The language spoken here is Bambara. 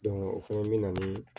o fana bɛ na ni